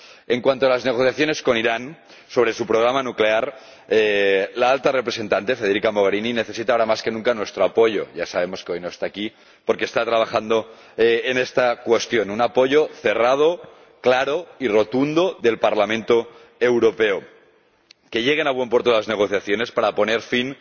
En cuanto a las negociaciones con Irán, sobre su programa nuclear, la Alta Representante, Federica Mogherini, necesita ahora más que nunca nuestro apoyo —ya sabemos que hoy no está aquí porque está trabajando en esta cuestión—, un apoyo cerrado, claro y rotundo del Parlamento Europeo, a fin de que lleguen a buen puerto las negociaciones para poner fin